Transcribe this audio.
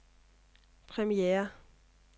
premiere